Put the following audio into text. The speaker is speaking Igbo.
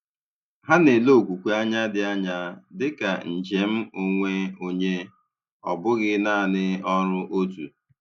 Hà na-ele okwukwe anya dị anya dị ka njem onwe onye, ọ bụghị naanị ọrụ òtù.